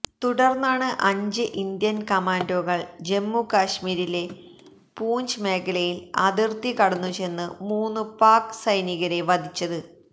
തുടർന്നാണ് അഞ്ച് ഇന്ത്യൻ കമാൻഡോകൾ ജമ്മു കശ്മീരിലെ പൂഞ്ച് മേഖലയിൽ അതിർത്തി കടന്നുചെന്നു മൂന്നു പാക്ക് സൈനികരെ വധിച്ചത്